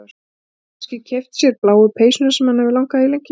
Getur kannski keypt sér bláu peysuna sem hana hefur langað í lengi.